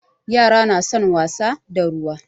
Yara na son wasa da ruwa.